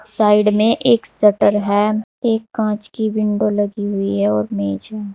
Side में एक shutter है एक काच की विंडो लगी हुई है और मेज है।